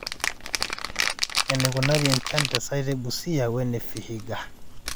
enikunari enchan te site Busia we ne Vihiga